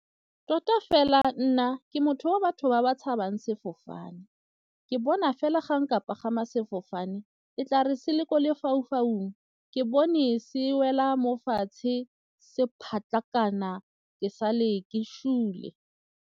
Tota fela nna ke motho wa batho ba ba tshabang sefofane, ke bona fela ga nka pagama sefofane e tla re se le ko lefaufaung ke bone se wela mo fatshe se ke sale ke sule.